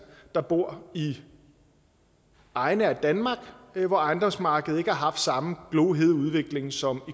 der bor i egne af danmark hvor ejendomsmarkedet ikke har haft samme glohede udvikling som